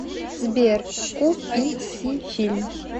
сбер ку пи си фильм